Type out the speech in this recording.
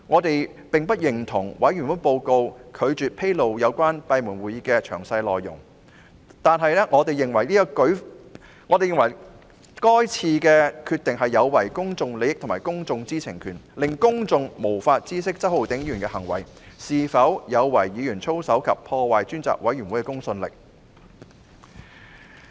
對於專責委員會報告未有披露有關閉門會議的詳細內容，我們並不認同，認為這項決定有違公眾利益及公眾知情權，令公眾無法知悉周浩鼎議員的行為有否違反議員操守及破壞專責委員會的公信力。